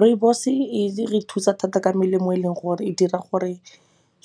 Rooibos e re thusa thata ka melemo e leng gore e dira gore